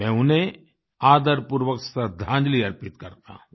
मैं उन्हें आदरपूर्वक श्रद्दांजलि अर्पित करता हूँ